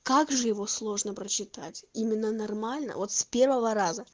как же его сложно прочитать именно нормально вот с первого раза